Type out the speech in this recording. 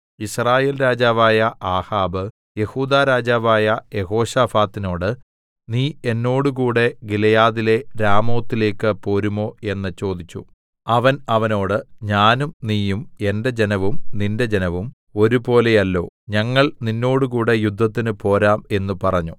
യിസ്രായേൽ രാജാവായ ആഹാബ് യെഹൂദാ രാജാവായ യെഹോശാഫാത്തിനോട് നീ എന്നോടുകൂടെ ഗിലെയാദിലെ രാമോത്തിലേക്ക് പോരുമോ എന്ന് ചോദിച്ചു അവൻ അവനോട് ഞാനും നീയും എന്റെ ജനവും നിന്റെ ജനവും ഒരുപോലെയല്ലോ ഞങ്ങൾ നിന്നോടുകൂടെ യുദ്ധത്തിനു പോരാം എന്നു പറഞ്ഞു